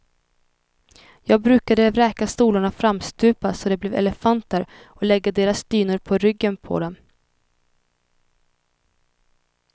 Jag brukade vräka stolarna framstupa så de blev elefanter och lägga deras dynor på ryggen på dem.